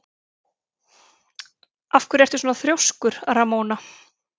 Af hverju ertu svona þrjóskur, Ramóna?